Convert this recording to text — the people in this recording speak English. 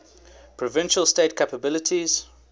provincial state capabilities